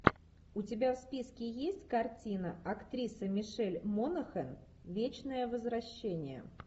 у тебя в списке есть картина актриса мишель монахэн вечное возвращение